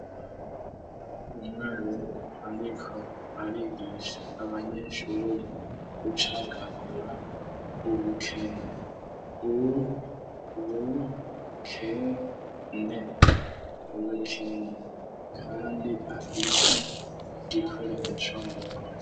Umwarimu ariko arigisa abanyeshuri gucagagura ubukene u bu kene kandi afise gikoresho mu ntoke.